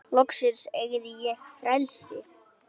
Loksins eygði ég frelsi.